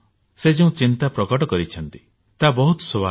ସେ ଯେଉଁ ଚିନ୍ତା ପ୍ରକଟ କରିଛନ୍ତି ତାହା ବହୁତ ସ୍ୱାଭାବିକ